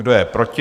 Kdo je proti?